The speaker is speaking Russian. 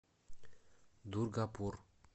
дургапур